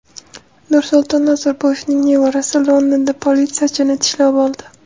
Nursulton Nazarboyevning nevarasi Londonda politsiyachini tishlab oldi.